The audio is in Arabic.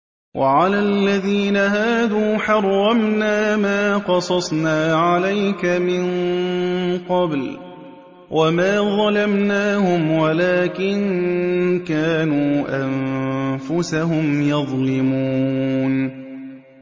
وَعَلَى الَّذِينَ هَادُوا حَرَّمْنَا مَا قَصَصْنَا عَلَيْكَ مِن قَبْلُ ۖ وَمَا ظَلَمْنَاهُمْ وَلَٰكِن كَانُوا أَنفُسَهُمْ يَظْلِمُونَ